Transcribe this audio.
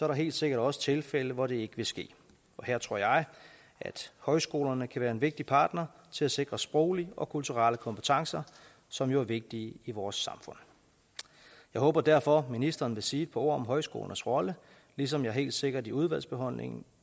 der helt sikkert også tilfælde hvor det ikke vil ske her tror jeg at højskolerne kan være en vigtig partner til at sikre sproglige og kulturelle kompetencer som jo er vigtige i vores samfund jeg håber derfor at ministeren vil sige et par ord om højskolernes rolle ligesom jeg helt sikkert i udvalgsbehandlingen